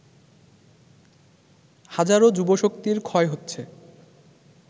হাজারো যুবশক্তির ক্ষয় হচ্ছে